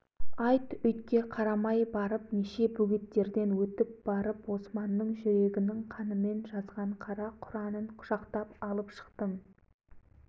сонан соң бұдан аяған жан не болады деп өзім тәуекел қылып жөнелдім